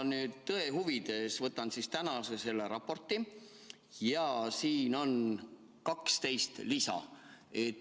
Ma nüüd tõe huvides võtan tänase raporti, siin on 12 lisa.